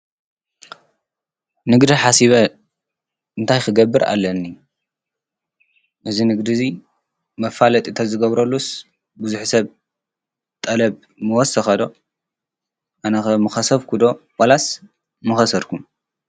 ንግድ ሓሲበ እንታይ ኽገብር ኣለኒ እዝ ንግዲዚ መፋለጥ እተዝገብረሉስ ብዙሕ ሰብ ጠለብ መወሰኸዶ? ኣነኸ ምኸሰብኩዶ ወላስ መኸሰርኩም?